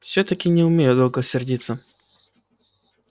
всё-таки не умею долго сердиться